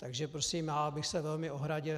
Takže prosím, já bych se velmi ohradil.